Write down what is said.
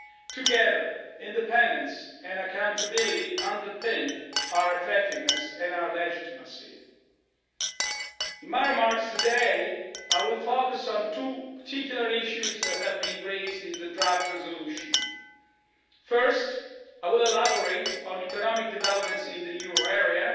Together, independence and accountability underpin our effectiveness and our legitimacy. In my remarks today, I will focus on two particular issues that have been raised in the draft resolution. First, I will elaborate on economic developments in the euro area